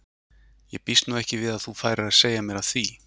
En ég býst nú ekki við að þú færir að segja mér af því.